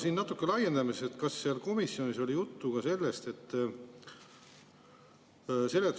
Aga natuke laiendame, et kas komisjonis oli juttu ka sellest.